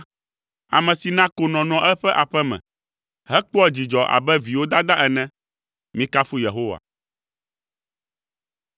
Ame si na konɔ nɔa eƒe aƒe me, hekpɔa dzidzɔ abe viwo dada ene. Mikafu Yehowa.